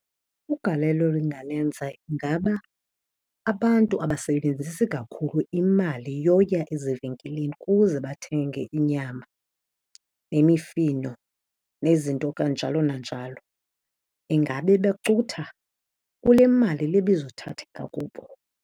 Ugalelo elingalenza ingaba abantu abasebenzisi kakhulu imali yoya ezivenkileni kuze bathenge inyama nemifino, nezinto kanjalo nanjalo. Ingabe becutha kule mali le ibizothatheka kubo.